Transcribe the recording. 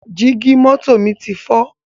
Jígí mọ́tò mi ti fọ́